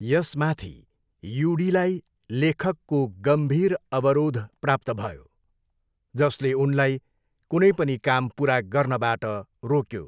यसमाथि, युडीलाई लेखकको गम्भीर अवरोध प्राप्त भयो, जसले उनलाई कुनै पनि काम पुरा गर्नबाट रोक्यो।